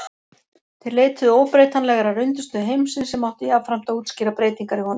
þeir leituðu óbreytanlegrar undirstöðu heimsins sem átti jafnframt að útskýra breytingar í honum